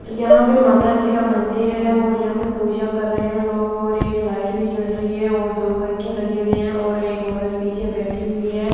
यहां पर माता जी का मंदिर है और यहां पर पूजा कर रहे हैं लोग और एक लाइट भी जल रही है और दो पंखे लगे हुए हैं और एक औरत पीछे बैठी हुई है।